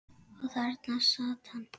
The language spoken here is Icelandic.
Og þarna sat hann.